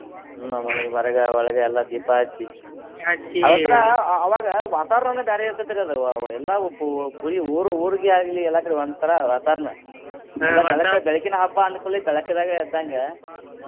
ಹ್ಮ್‌ ಹೊರಗ ಒಳಗ ಎಲ್ಲಾ ದೀಪಾ ಹಚ್ಚಿ ಒಂತರಾ ಅವಾಗ ವಾತಾವರಣನ ಬ್ಯಾರೆ ಇರ್ತೆತ್ರಿ ಅದ್ ಬರೀ ಊರು ಊರಿಗೆ ಆಗ್ಲಿ ಎಲ್ಲಾ ಕಡೆ ಒಂತರಾ ವಾತಾವರಣ ಬೆಳಕಿನ ಹಬ್ಬ ಅಂದಕೂಡ್ಲೆ ಬೆಳ್ಕದಾಗೆ ಇದ್ದಂಗ.